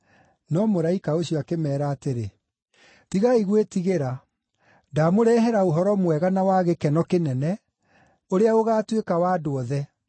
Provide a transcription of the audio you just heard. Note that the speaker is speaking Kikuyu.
No mũraika ũcio akĩmeera atĩrĩ, “Tigai gwĩtigĩra. Ndamũrehera ũhoro mwega na wa gĩkeno kĩnene, ũrĩa ũgaatuĩka wa andũ othe.